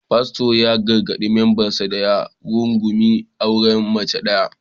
Fasto ya gargadi membansa da ya rungumi auren mace daya